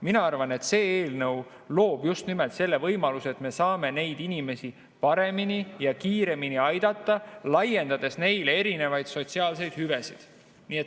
Mina arvan, et see eelnõu loob just nimelt selle võimaluse, et me saame neid inimesi paremini ja kiiremini aidata, laiendades neile erinevaid sotsiaalseid hüvesid.